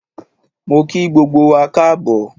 Mo kí gbogbo wa Káàbọ̀